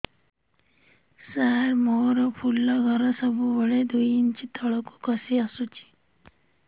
ସାର ମୋର ଫୁଲ ଘର ସବୁ ବେଳେ ଦୁଇ ଇଞ୍ଚ ତଳକୁ ଖସି ଆସିଛି